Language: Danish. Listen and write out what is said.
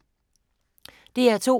DR2